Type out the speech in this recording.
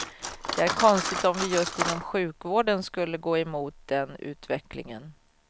Det är konstigt om vi just inom sjukvården skulle gå emot den utvecklingen.